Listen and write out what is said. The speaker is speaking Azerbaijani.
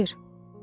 Gəlir!